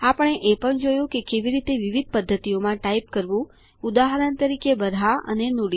આપણે એ પણ જોયું કે કેવી રીતે વિવિધ પદ્ધતિઓમાં ટાઈપ કરવું ઉદાહરણ તરીકે બરહા અને નુડી